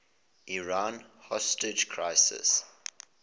iran hostage crisis